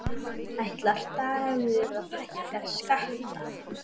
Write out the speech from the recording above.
Ætlar Dagur að hækka skatta?